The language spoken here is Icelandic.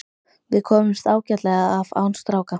Við komumst ágætlega af án stráka.